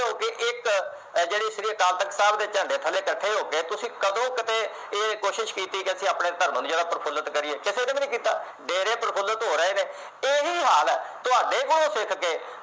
ਜਿਹੜੀ ਸ਼੍ਰੀ ਅਕਾਲ ਤਖਤ ਸਾਹਿਬ ਦੇ ਝੰਡੇ ਥੱਲੇ ਇਕੱਠੇ ਹੋ ਕੇ ਤੁਸੀ ਕਦੋਂ ਕਦੇ ਇਹ ਕੋਸ਼ਿਸ਼ ਕੀਤੀ ਕਿ ਆਪਣੇ ਧਰਮ ਨੂੰ ਪ੍ਰਫੂਲਿਤ ਕਰੀਏ ਕਿਸੇ ਨੇ ਵੀ ਨਹੀਂ ਕੀਤਾ ਡੇਰੇ ਪ੍ਰਫੂਲਿਤ ਹੋ ਰਹੇ ਨੇ ਇਹੀਂ ਹਾਲ ਹੈ ਤੁਹਾਡੇ ਕੋਲੋ ਸਿੱਖ ਖੇ